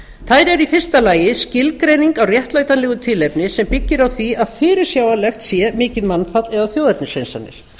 þær eru í fyrsta lagi skilgreining á réttlætanlegu tilefni sem byggir á því að fyrirsjáanlegt sé mikið mannfall eða þjóðernishreinsanir